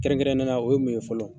Kɛrɛnkɛrɛn ne ya la o ye mun ye fɔlɔ.